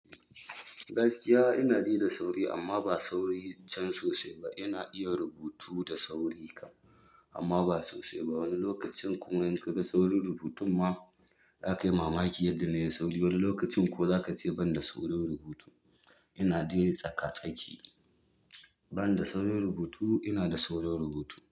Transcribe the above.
Gaskiya ina dai da sauri amma ba sauri can sosai ba. Ina iya rubutu da sauri kam, amma ba sosai ba. Wani lokacin kuma in kaga saurin rubutun ma zakai mamaki yadda nai saurin. Wani lokacin ko za ka ce ban da saurin rubutu. Ina dai tsaka-tsaki, ban da saurin rubutu, ina da saurin rubutu.